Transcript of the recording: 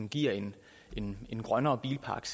giver en en grønnere bilpark